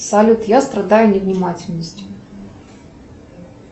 салют я страдаю невнимательностью